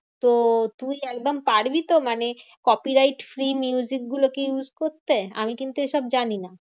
তো তুই একদম পারবিতো? মানে copyright free গুলোকে use করতে? আমি কিন্তু এইসব জানিনা।